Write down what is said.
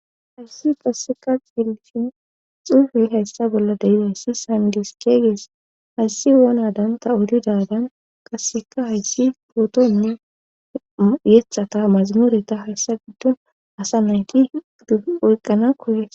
hayssi qasseka ceellishin xuufe hayssa bolla deidayssi sandis keeygees hayssi wonadanta odidadan qasseka hayssi pootonne yethata mazamuureta hayssa giddon asa nayti doyqqana kuyes